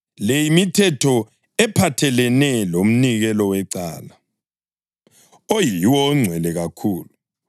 “ ‘Le yimithetho ephathelene lomnikelo wecala, oyiwo ongcwele kakhulu.